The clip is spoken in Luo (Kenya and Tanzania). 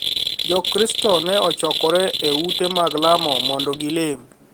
Jokristo ne ochokore e ute mag lamo mondo gilem,